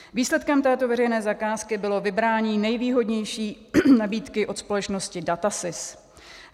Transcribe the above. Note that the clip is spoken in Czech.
Výsledkem této veřejné zakázky bylo vybrání nejvýhodnější nabídky od společnosti DATASYS.